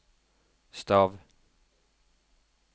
stav